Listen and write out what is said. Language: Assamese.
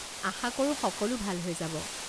আশা কৰোঁ সকলো ভাল হৈ যাব।